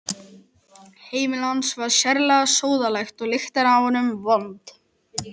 Heimili hans var sérlega sóðalegt og lyktin af honum vond.